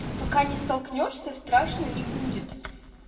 пока не столкнёшься страшно не будет